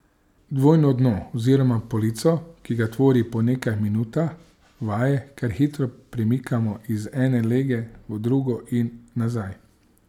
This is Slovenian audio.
Dvojno dno oziroma polico, ki ga tvori, po nekaj minutah vaje kar hitro premikamo iz ene lege v drugo in nazaj.